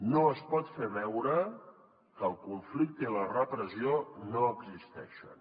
no es pot fer veure que el conflicte i la repressió no existeixen